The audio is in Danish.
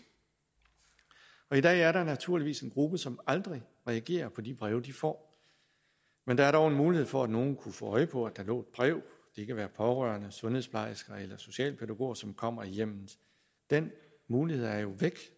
i dag er der naturligvis en gruppe som aldrig reagerer på de breve de får men der er dog en mulighed for at nogle kunne få øje på at der lå et brev det kan være pårørende sundhedsplejersker eller socialpædagoger som kommer i hjemmet den mulighed er jo væk